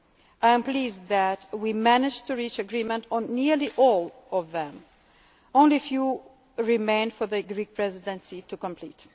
the MFF. I am pleased that we managed to reach agreement on nearly all of these. Only a very few remain for the Greek Presidency